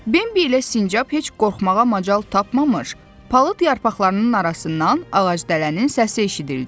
Bembi ilə sincab heç qorxmağa macal tapmamış, palıd yarpaqlarının arasından ağacdələnin səsi eşidildi.